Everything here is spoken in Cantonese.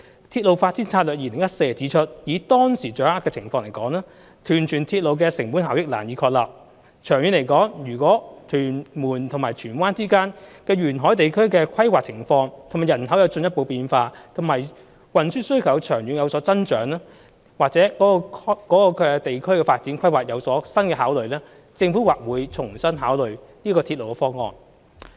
《鐵路發展策略2014》指出，以當時掌握的情況而言，屯荃鐵路的成本效益難以確立；長遠來說，如果屯門與荃灣之間的沿海地區的規劃情況及人口有進一步變化，以及運輸需求長遠有所增長，或者該地區的發展規劃有新的考慮，政府或會重新考慮這個鐵路方案。